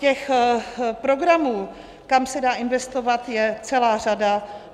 Těch programů, kam se dá investovat, je celá řada.